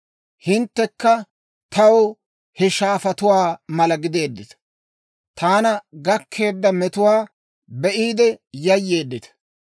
Hinttekka taw he shaafatuwaa mala gideeddita; taana gakkeedda metuwaa be'iide yayyeeddita.